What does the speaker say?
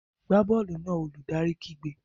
Gbá bọ́ọ̀lù náà! Olùdarí kígbe.